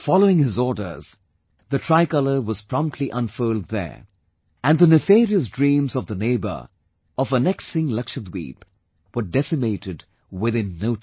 Following his orders, the Tricolour was promptly unfurled there and the nefarious dreams of the neighbour of annexing Lakshadweep were decimated within no time